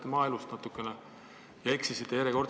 Kui ma vaatasin seda koalitsioonilepingut, siis ...